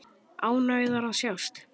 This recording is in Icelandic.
Ánægðar að sjást.